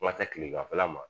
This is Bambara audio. N ka se kileganfɛla ma